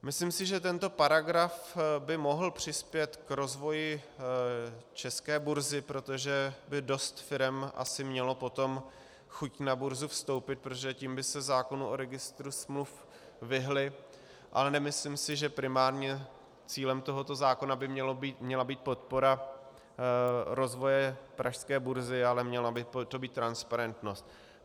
Myslím si, že tento paragraf by mohl přispět k rozvoji české burzy, protože by dost firem asi mělo potom chuť na burzu vstoupit, protože tím by se zákonu o Registru smluv vyhnuly, ale nemyslím si, že primárně cílem tohoto zákona by měla být podpora rozvoje pražské burzy, ale měla by to být transparentnost.